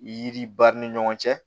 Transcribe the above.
Yiri b'a ni ɲɔgɔn cɛ